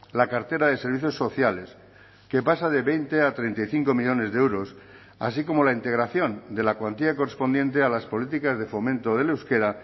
la cartera de servicios sociales que pasa de veinte a treinta y cinco millónes de euros así como la integración de la cuantía correspondiente a las políticas de fomento del euskera